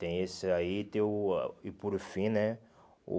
Tem esse aí, tem o... E por fim, né? O